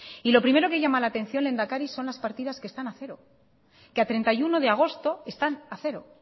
y lo primero que llama la atención lehendakari son las partidas que están a cero que a treinta y uno de agosto están a cero